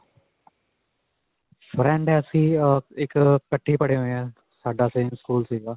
friend ਹੈ ਅਸੀਂ. ਅਅ ਇੱਕਠੇ ਹੀ ਪੜ੍ਹੇ ਹੋਏ ਹੈਂ. ਸਾਡਾ same school ਸਕੂਲ ਸਿਗਾ.